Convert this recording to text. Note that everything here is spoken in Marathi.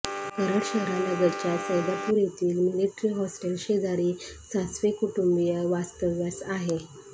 कराड शहरालगतच्या सैदापूर येथील मिलिटरी हॉस्टेलशेजारी सासवे कुटुंबीय वास्तव्यास आहे